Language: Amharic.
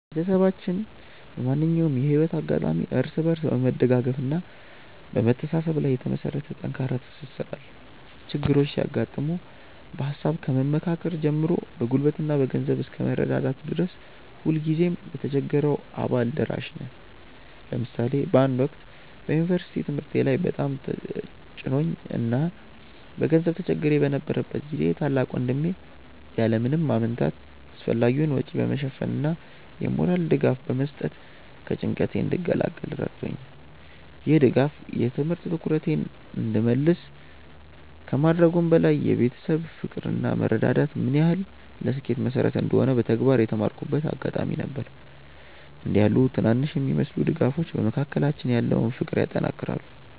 ቤተሰባችን በማንኛውም የህይወት አጋጣሚ እርስ በርስ በመደጋገፍና በመተሳሰብ ላይ የተመሰረተ ጠንካራ ትስስር አለው። ችግሮች ሲያጋጥሙ በሃሳብ ከመመካከር ጀምሮ በጉልበትና በገንዘብ እስከ መረዳዳት ድረስ ሁልጊዜም ለተቸገረው አባል ደራሽ ነን። ለምሳሌ በአንድ ወቅት በዩኒቨርሲቲ ትምህርቴ ላይ በጣም ተጭኖኝ እና በገንዘብ ተቸግሬ በነበረበት ጊዜ ታላቅ ወንድሜ ያለ ምንም ማመንታት አስፈላጊውን ወጪ በመሸፈን እና የሞራል ድጋፍ በመስጠት ከጭንቀቴ እንድገላገል ረድቶኛል። ይህ ድጋፍ የትምህርት ትኩረቴን እንድመልስ ከማድረጉም በላይ የቤተሰብ ፍቅር እና መረዳዳት ምን ያህል ለስኬት መሰረት እንደሆነ በተግባር የተማርኩበት አጋጣሚ ነበር። እንዲህ ያሉ ትናንሽ የሚመስሉ ድጋፎች በመካከላችን ያለውን ፍቅር ያጠናክራሉ።